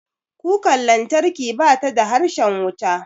Kukar lantarki bata da harshen wuta.